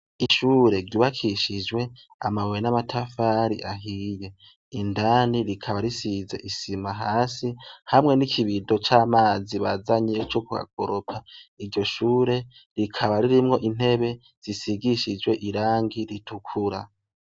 Ishure ryubakishijwe amabuye n'amatafari ahiye indani rikaba risize isima hasi hamwe nikibido camazi bazanye Co kuhakoropa iryo shure rikaba ririmwo intebe isigishije irangi ritukura.